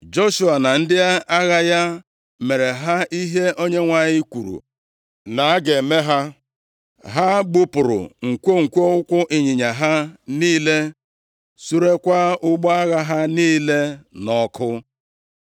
Joshua na ndị agha ya mere ha ihe Onyenwe anyị kwuru na a ga-eme ha. Ha gbupụrụ nkwonkwo ụkwụ ịnyịnya ha niile, surekwaa ụgbọ agha ha niile nʼọkụ.